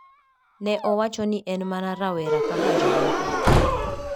Ne owacho ni en mana rawera kaka jomoko.